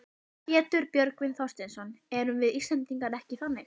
Pétur Björgvin Þorsteinsson: Erum við Íslendingar ekki þannig?